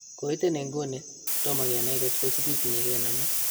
Koiten iguni, tomak kenany kotko sigiknyi kename